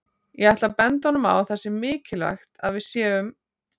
Ég ætla að benda honum á að það sé mikilvægt að við séum